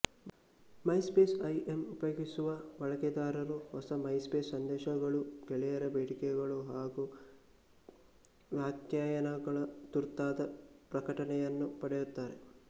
MySpace I M ಉಪಯೋಗಿಸುವ ಬಳಕೆದಾರರು ಹೊಸ ಮೈಸ್ಪೇಸ್ ಸಂದೇಶಗಳು ಗೆಳೆಯರ ಬೇಡಿಕೆಗಳು ಹಾಗೂ ವ್ಯಾಖ್ಯಾನಗಳ ತುರ್ತಾದ ಪ್ರಕಟಣೆಯನ್ನು ಪಡೆಯುತ್ತಾರೆ